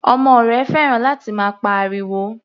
Ọmọ rẹ̀ fẹ́ràn láti máa pa ariwo.